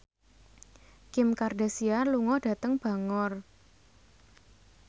Kim Kardashian lunga dhateng Bangor